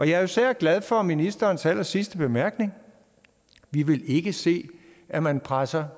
jeg er især glad for ministerens allersidste bemærkning vi vil ikke se at man presser